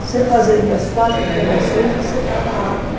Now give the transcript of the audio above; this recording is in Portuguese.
Você fazendo as quatro operações, você estava apto.